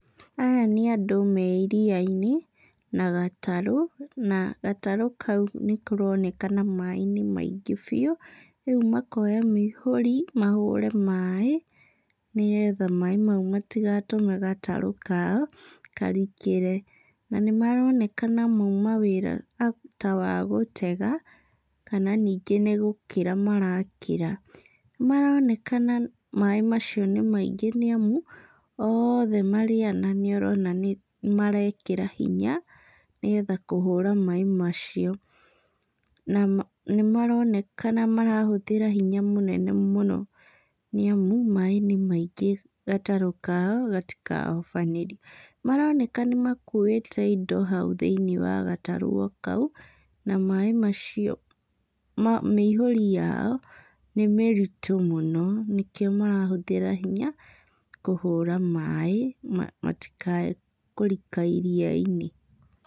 Aya nĩ andũ me iria-inĩ na gatarũ, na gatarũ kau nĩkaronekana maĩ nĩ maingĩ biũ, rĩu makoya mĩihũri mahũre maĩ nĩgetha maĩ mau matigatũme gatarũ kao karikĩre. Na nĩmaronekana mauma wĩra ta wa gũtega, kana ningĩ nĩgũkĩra marakĩra. Nĩmaronekana maĩ macio nĩ maingĩ nĩamu oothe marĩ ana nĩũrona nĩmarekĩra hinya nĩgetha kũhũra maĩ macio. Na nĩmaronekana marahũthĩra hinya mũnene mũno, nĩamu maĩ nĩ maingĩ gatarũ kao gatikahobanĩrio. Maroneka nĩmakuĩte indo hau thĩiniĩ wa gatarũ o kau, na maĩ macio, mĩihũri yao nĩmĩritũ mũno nĩkĩo marahũthĩra hinya kũhũra maĩ matikae kũrika iria-inĩ.